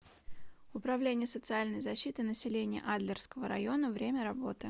управление социальной защиты населения адлерского района время работы